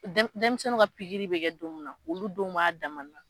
Denmisɛnninw ka pikiiriri bɛ kɛ don min na, olu donw b'a dama na